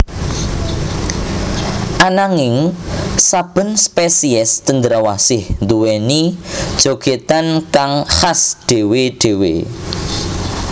Ananging saben spesiés cendrawasih nduwèni jogètan kang khas dhéwé dhéwé